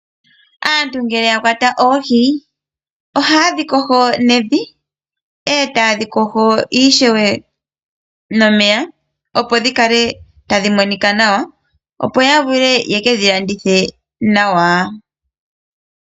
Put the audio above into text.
Aantu ngele ya kwata oohi ohaye dhi yogo nevi etaye dhi yogo ishewe nomeya opo dhikale tadhi monika nawa opo ya vule ye kedhi landithe nawa.